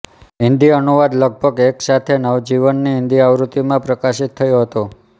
હિન્દી અનુવાદ લગભગ એક સાથે નવજીવનની હિન્દી આવૃત્તિમાં પ્રકાશિત થયો હતો